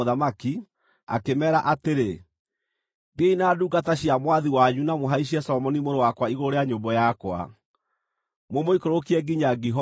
akĩmeera atĩrĩ, “Thiĩi na ndungata cia mwathi wanyu na mũhaicie Solomoni mũrũ wakwa igũrũ rĩa nyũmbũ yakwa, mũmũikũrũkie nginya Gihoni.